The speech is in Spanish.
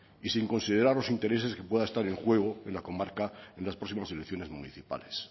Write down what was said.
y sin considerar los intereses que pueda estar en juego en la comarca en las próximas elecciones municipales